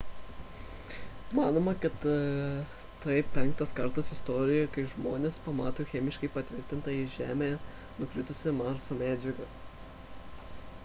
manoma kad tai penktas kartas istorijoje kai žmonės pamato chemiškai patvirtintą į žemę nukritusią marso medžiagą